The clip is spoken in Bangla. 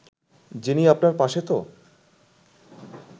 যিনি আপনার পাশে তো